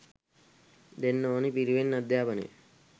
දෙන්න ඕනි පිරිවෙන් අධ්‍යාපනය